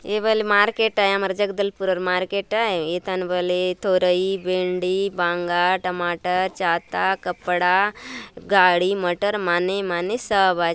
ये बले मार्केट आय आमर जगदलपुर अर मार्केट आय ए थाने बले तोरई भेंडी बांगा टमाटर छाता कपड़ा गाड़ी मटर माने माने सब आचे।